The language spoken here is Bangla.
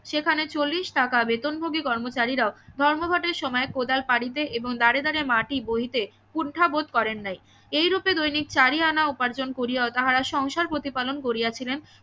সেখানে চল্লিশ টাকা বেতনভোগী কর্মচারীরাও ধর্মঘট এর সময় কোদাল পারিতে এবং দারে দারে মাটি বহিতে কুন্ঠা বোধ করেন নাই এইরূপে দৈনিক চারি আনা উপার্জন করিয়াও তাহারা সংসার প্রতিপালন করিয়াছিলেন